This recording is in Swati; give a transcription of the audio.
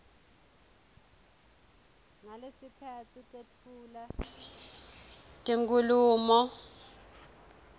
ngalesikhatsi tetfula tinkhulumo